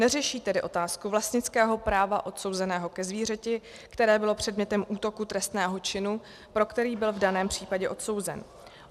Neřeší tedy otázku vlastnického práva odsouzeného ke zvířeti, které bylo předmětem útoku trestného činu, pro který byl v daném případě odsouzen.